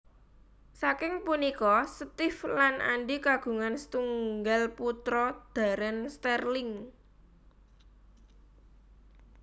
Saking punika Steve lan Andi kagungan setunggal putra Darren Sterling